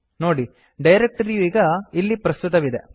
ನೋಡಿ ಡೈರಕ್ಟರಿಯು ಈಗ ಇಲ್ಲಿ ಪ್ರಸ್ತುತವಿದೆ